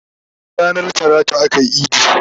Bana ranar talata akayi idi